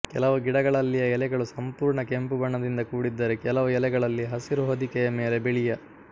ಕೆಲವು ಗಿಡಗಳಲ್ಲಿಯ ಎಲೆಗಳು ಸಂಪೂರ್ಣ ಕೆಂಪು ಬಣ್ಣದಿಂದ ಕೂಡಿದ್ದರೆ ಕೆಲವು ಎಲೆಗಳಲ್ಲಿ ಹಸಿರು ಹೊದಿಕೆಯ ಮೇಲೆ ಬಿಳಿಯ